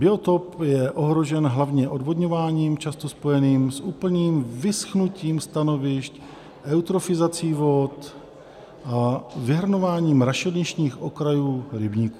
Biotop je ohrožen hlavně odvodňováním, často spojeným s úplným vyschnutím stanovišť, eutrofizací vod a vyhrnováním rašelinných okrajů rybníků.